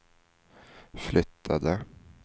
flyttade